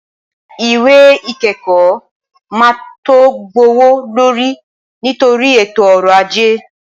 Ìwé ìkẹ́kọ̀ọ́ máa tó gbówó lórí nítorí ètò ọrọ̀ ajé.